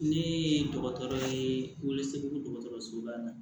Ne ye dɔgɔtɔrɔ ye welesebugu dɔgɔtɔrɔsoba la